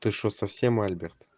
ты что совсем альберт